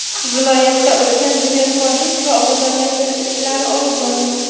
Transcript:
Viloyatda ulkan bunyodkorlik va obodonlashtirish ishlari olib borilmoqda.